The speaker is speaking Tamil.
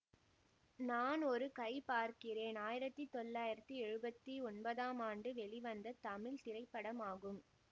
நான் ஒரு கை பார்க்கிறேன் ஆயிரத்தி தொள்ளாயிரத்தி எழுவத்தி ஒன்பதாம் ஆண்டு வெளிவந்த தமிழ் திரைப்படமாகும்